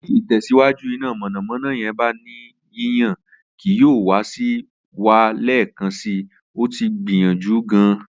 Ti itẹsiwaju ina mọnamọna yẹn ba ni yiyan kii yoo wa si wa lẹẹkansi, o ti gbiyanju gaan